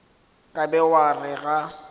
ka be wa re ga